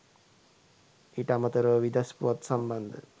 ඊට අමතරව විදෙස් පුවත් සම්බන්ධ